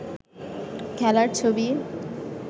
খেলার ছবি